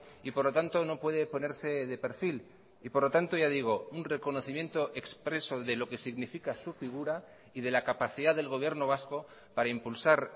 y por lo tanto no puede ponerse de perfil y por lo tanto ya digo un reconocimiento expreso de lo que significa su figura y de la capacidad del gobierno vasco para impulsar